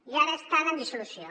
i ara estan en dissolució